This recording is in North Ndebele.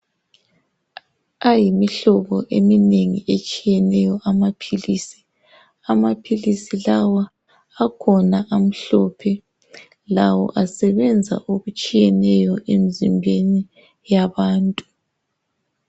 Ayimihlobo eminengi etshiyeneyo amaphilisi. Amaphilisi lawa akhona amhlophe. Lawo asebenza okutshiyeneyo emzimbeni yabantu.